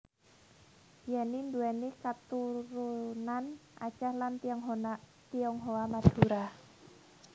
Yenny nduwèni katurunan Aceh lan Tionghoa Madura